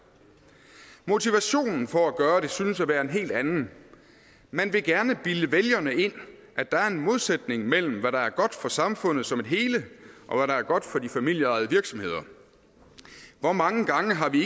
motivationen for at gøre det synes at være en helt anden man vil gerne bilde vælgerne ind at der er en modsætning mellem hvad der er godt for samfundet som et hele og hvad der er godt for de familieejede virksomheder hvor mange gange har vi